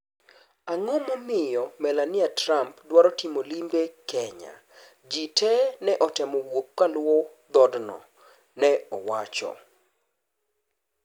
Ang'o ma omiyo Melania Trump dwaro timo limbe Kenyajii te ne otemo wuok kaluwo dhodno, ne owacho